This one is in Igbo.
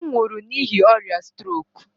Ọ nwụrụ n'ihi ọrịa strok.